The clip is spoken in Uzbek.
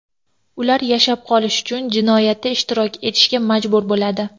Ular yashab qolish uchun jinoyatda ishtirok etishga majbur bo‘ladi.